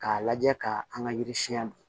K'a lajɛ ka an ka yiri siɲɛ don